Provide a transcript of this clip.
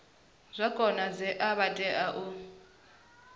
zwa konadzea vha tea u